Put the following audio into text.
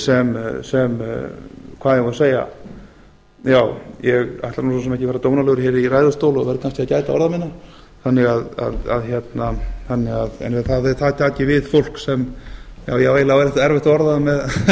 sem hvað eigum við að segja ég ætla nú svo sem ekki að vera dónalegur hér í ræðustóli og verð kannski að gæta orða minna en að þar taki við fólk ég á eiginlega erfitt að orða það